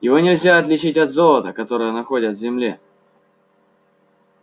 его нельзя отличить от золота которое находят в земле